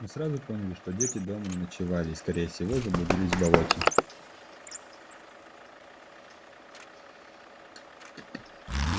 мы сразу поняли что дети дома не ночевали и скорее всего заблудились в болоте